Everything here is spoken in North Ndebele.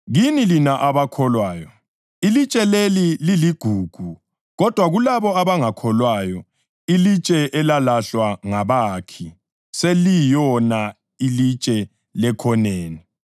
Kini lina abakholwayo, ilitshe leli liligugu. Kodwa kulabo abangakholwayo, “Ilitshe elalahlwa ngabakhi seliyilona ilitshe lekhoneni,” + 2.7 AmaHubo 118.22